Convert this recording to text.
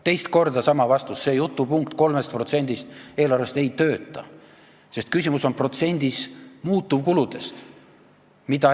Teist korda sama vastus, see jutupunkt 3%-st ei tööta, sest küsimus on protsendis muutuvkuludest.